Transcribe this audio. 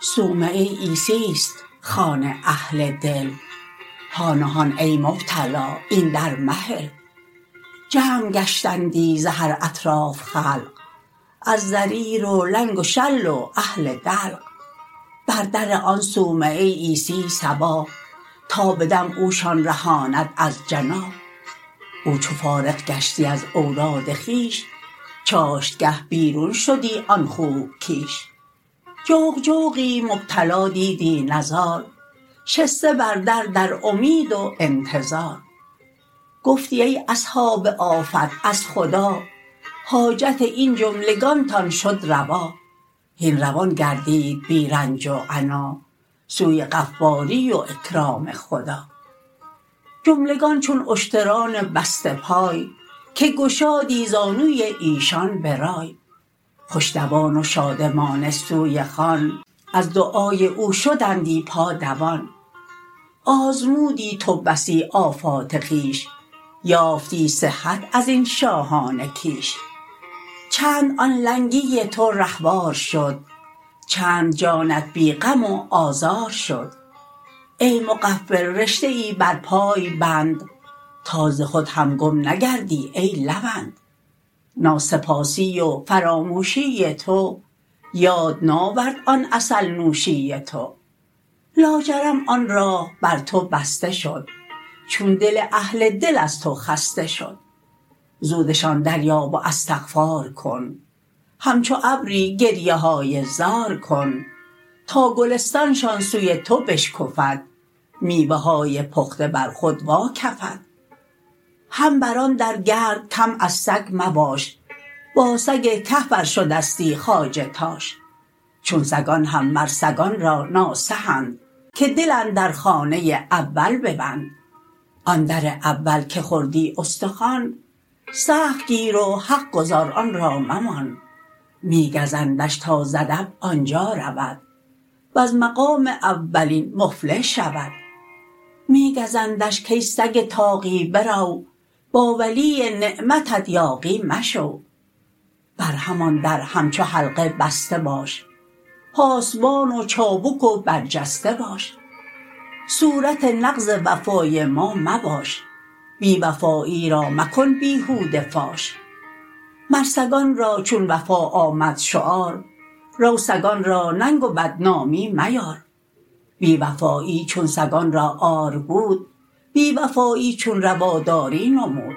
صومعه عیسی ست خوان اهل دل هان و هان ای مبتلا این در مهل جمع گشتندی ز هر اطراف خلق از ضریر و لنگ و شل و اهل دلق بر در آن صومعه عیسی صباح تا به دم اوشان رهاند از جناح او چو فارغ گشتی از اوراد خویش چاشت گه بیرون شدی آن خوب کیش جوق جوقی مبتلا دیدی نزار شسته بر در در امید و انتظار گفتی ای اصحاب آفت از خدا حاجت این جملگانتان شد روا هین روان گردید بی رنج و عنا سوی غفاری و اکرام خدا جملگان چون اشتران بسته پای که گشایی زانوی ایشان برای خوش دوان و شادمانه سوی خان از دعای او شدندی پا دوان آزمودی تو بسی آفات خویش یافتی صحت ازین شاهان کیش چند آن لنگی تو رهوار شد چند جانت بی غم و آزار شد ای مغفل رشته ای بر پای بند تا ز خود هم گم نگردی ای لوند ناسپاسی و فراموشی تو یاد ناورد آن عسل نوشی تو لاجرم آن راه بر تو بسته شد چون دل اهل دل از تو خسته شد زودشان در یاب و استغفار کن همچو ابری گریه های زار کن تا گلستان شان سوی تو بشکفد میوه های پخته بر خود وا کفد هم بر آن در گرد کم از سگ مباش با سگ کهف ار شدستی خواجه تاش چون سگان هم مر سگان را ناصح اند که دل اندر خانه اول ببند آن در اول که خوردی استخوان سخت گیر و حق گزار آن را ممان می گزندش تا ز ادب آنجا رود وز مقام اولین مفلح شود می گزندش کای سگ طاغی برو با ولی نعمتت یاغی مشو بر همان در همچو حلقه بسته باش پاسبان و چابک و برجسته باش صورت نقض وفای ما مباش بی وفایی را مکن بیهوده فاش مر سگان را چون وفا آمد شعار رو سگان را ننگ و بدنامی میار بی وفایی چون سگان را عار بود بی وفایی چون روا داری نمود